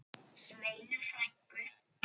Sveinu frænku.